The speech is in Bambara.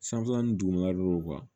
Sanfɛlani duguma don